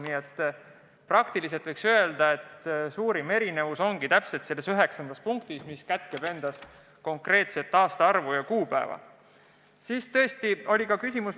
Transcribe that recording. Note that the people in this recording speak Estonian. Nii et praktiliselt võiks öelda, et suurim lahkheli ongi selles üheksandas punktis, mis kätkeb endas konkreetset aastaarvu, konkreetset kuupäeva.